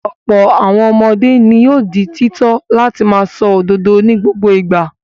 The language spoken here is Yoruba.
Ọ̀pọ̀ àwọn ọmọdé ni yóò di títọ́ láti máa sọ òdodo ní gbogbo ìgbà.